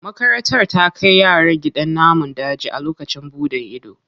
Makarantar ta kai yaran gidan namun daji a lokacin buɗan ido.